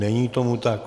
Není tomu tak.